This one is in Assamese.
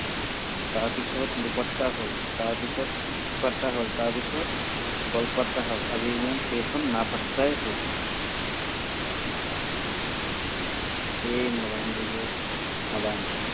তাৰপিছত দুপাত্তা হ'ল, তাৰপিছত হ'ল, তাৰপিছত গলপাত্তা হ'ল, আজিৰ দিনত সেইখন নাপাত্তাই হৈ গ'ল। কি কম? এইয়াই modern যুগৰ modern ছোৱালী।